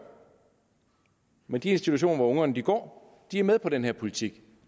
men de institutioner hvor ungerne går er med på den her politik